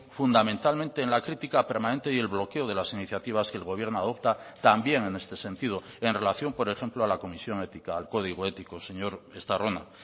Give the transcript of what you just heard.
fundamentalmente en la crítica permanente y el bloqueo de las iniciativas que el gobierno adopta también en este sentido en relación por ejemplo a la comisión ética al código ético señor estarrona